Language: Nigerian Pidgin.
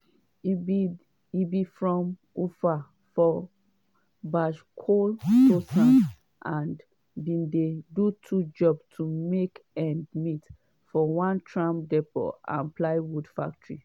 e be from ufa for bashkortostan and bin dey do two jobs to make ends meet -for one tram depot and plywood factory.